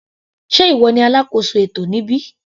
Sé ìwọ ní alákóso ètò níbí.